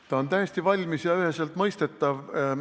Ta on täiesti valmis ja üheselt mõistetav.